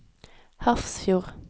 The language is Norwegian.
Hafrsfjord